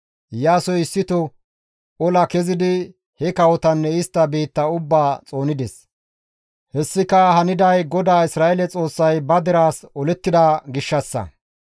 Iyaasoy issito ola kezidi he kawotanne istta biitta ubbaa xoonides. Hessika haniday GODAA Isra7eele Xoossay ba deraas olettida gishshassa.